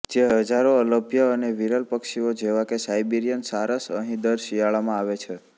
જે હજારો અલભ્ય અને વીરલ પક્ષીઓ જેવાકે સાઈબીરીયન સારસ અહીં દર શિયાળામાં આવે છે